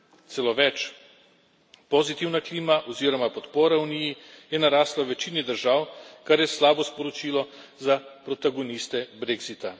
Celo več, pozitivna klima oziroma podpora Uniji je narasla v večini držav, kar je slabo sporočilo za protagoniste brexita